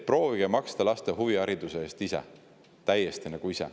Proovige maksta laste huvihariduse eest ise, täiesti ise.